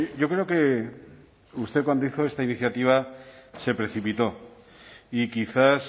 yo creo que usted cuando hizo esta iniciativa se precipitó y quizás